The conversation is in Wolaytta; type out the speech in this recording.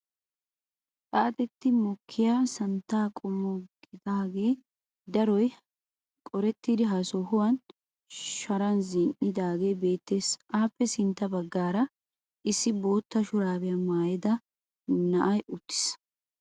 Xaaxetti mokkiya santtaa qommo gidaagee daroy qorettidi ha sohuwaan sharan zini"aagee beettees. appe sintta baggaara issi bootta shuraabiyaa maayida na'ay uttiis.